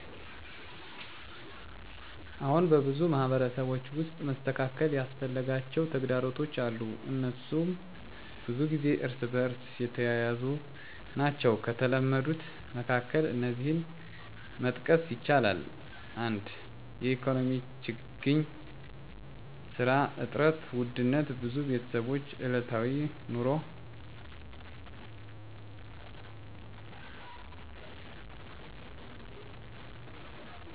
አዎን፣ በብዙ ማህበረሰቦች ውስጥ መስተካከል ያስፈልጋቸው ተግዳሮቶች አሉ፤ እነሱም ብዙ ጊዜ እርስ በእርስ የተያያዙ ናቸው። ከተለመዱት መካከል እነዚህን መጥቀስ ይቻላል፦ 1) የኢኮኖሚ ችግኝ (ስራ እጥረት፣ ውድነት): ብዙ ቤተሰቦች ዕለታዊ ኑሮን ለመሸከም ይቸገራሉ። መፍትሄ: የሙያ ስልጠና ማስፋፋት፣ አነስተኛ ንግድን መደገፍ፣ የወጣቶች የስራ እድል ፕሮግራሞችን ማበርታት። 2) የትምህርት ጥራት እና ተደራሽነት: ትምህርት ቢኖርም ጥራቱ ወይም መድረሱ ሊያንስ ይችላል። መፍትሄ: መምህራንን መደገፍ፣ ት/ቤቶችን መሻሻል፣ ወላጆችን በትምህርት ሂደት ማካተት። 3) የማህበራዊ ግንኙነት ድክመት (እርስ በእርስ እምነት እጥረት): መግባባት ሲቀንስ ችግኝ ይጨምራል። መፍትሄ: የውይይት መድረኮች፣ የማህበረሰብ ተግባራት (ንፅህና፣ ርዳታ) መደገፍ፣ የሽማግሌዎችና የወጣቶች ተሳትፎን ማጠናከር።